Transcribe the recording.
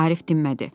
Arif dinmədi.